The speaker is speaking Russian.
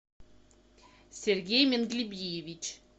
сергей менглибиевич